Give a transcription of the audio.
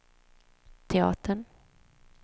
teatern